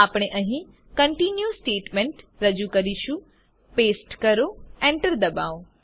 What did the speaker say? આપણે અહીં continue statement રજુ કરીશું પેસ્ટ કરો એન્ટર ડબાઓ